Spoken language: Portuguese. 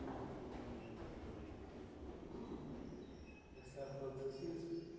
Fala. E a senhora falou dos seus filhos.